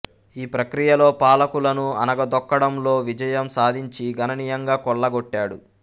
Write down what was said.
ఈ ప్రక్రియలో పాలకులను అణగదొక్కడంలో విజయం సాధించి గణనీయంగా కొల్లగొట్టాడు